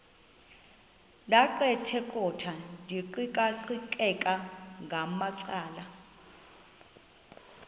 ndaqetheqotha ndiqikaqikeka ngamacala